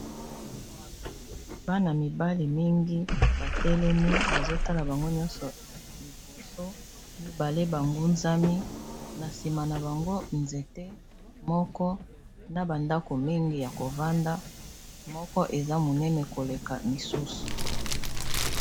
bana mibale mingi batelemi bazotala bango nyonso liboso mibale bangunzami na nsima na bango nzete moko na bandako mingi ya kovanda moko eza monene koleka misusu